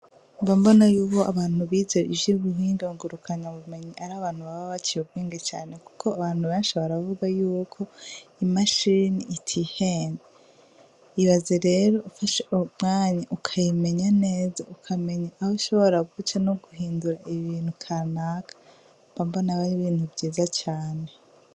Mbambona yubo abantu bizee ivyo buhingagurukanya bumenyi ari abantu baba baciye ubwinge cane, kuko abantu benshi baravuga yuko imashirini itiheni ibaze rero ufashe umwanya ukayimenya neza ukamenya abo shobora guce no guhindura ibintu kanaka mbambona bari bindu nivyiza cane.